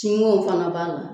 fana b'a la.